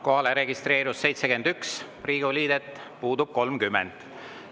Kohalolijaks registreerus 71 Riigikogu liiget, puudub 30.